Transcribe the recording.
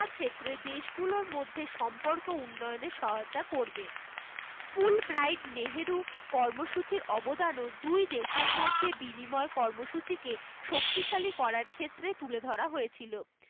ক্ষেত্রে দেশ গুলোর মধ্যে সম্পর্ক উন্নয়ন এর সহায়তা করবে full bright নেহেরু কর্মসূচির অবদান ও দুই দেশসেরা মধ্যে বিনিময় কর্মসূচি কে শক্তিশালী করার ক্ষেত্রে তুলে ধরা হয়েছিল